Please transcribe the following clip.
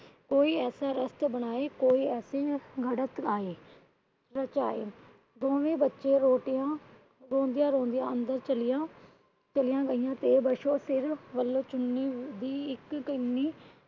ਕੋਈ ਐਸਾ ਰਸਤਾ ਬਣਾਏ। ਕੋਈ ਐਸੀ ਘਰਤ ਆਏ। ਦੋਵੇ ਬੱਚੀਆਂ ਰੋਟੀਆਂ ਰੋਂਦਿਆਂ ਰੋਂਦਿਆਂ ਅੰਦਰ ਚਲੀਆਂ ਗਈਆਂ। ਤੇ ਪਾਸ਼ੋ ਸਿਰ ਵਲੋਂ ਚੁੰਨੀ ਦੀ ਇੱਕ